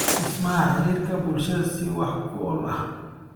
Dhismaha Xiriirka Bulshada si wax ku ool ah.